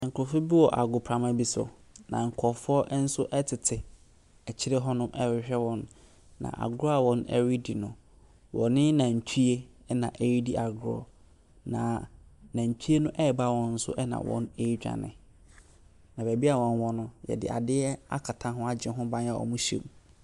Nkrɔfoɔ bi wɔ agoprama no so, na nkrɔfoɔ nso tete akyiri hɔ rehwɛ wɔn, na agorɔ a wɔredi no, wɔne nantwie. Nantwie teba wɔn so na wɔredwane. Na beaeɛ a wɔwɔ no, wɔde adeɛ akata ho agye ho ban a wɔhyɛ mu.